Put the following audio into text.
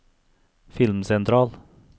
filmsentral